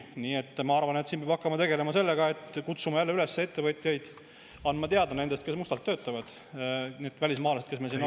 Nii et ma arvan, et siin peab hakkama tegelema sellega, et kutsume üles ettevõtjaid andma teada nendest, kes mustalt töötavad, need välismaalased, kes meil siin on.